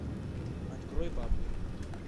открой бабник